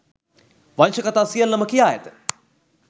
වංශ කථා සියල්ලම කියා ඇත